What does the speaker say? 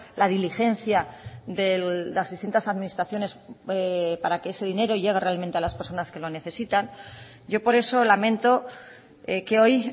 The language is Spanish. la diligencia de las distintas administraciones para que ese dinero llegue realmente a las personas que lo necesitan yo por eso lamento que hoy